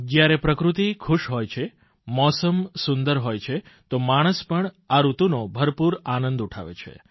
જયારે પ્રકૃતિ ખુશ હોય છે મોસમ સુંદર હોય છે તો માણસ પણ આ ઋતુનો ભરપૂર આનંદ ઉઠાવે છે